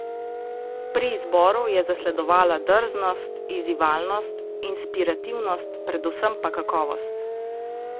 Pri izboru je zasledovala drznost, izzivalnost, inspirativnost, predvsem pa kakovost.